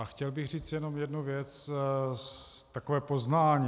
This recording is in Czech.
A chtěl bych říct jenom jednu věc, takové poznání.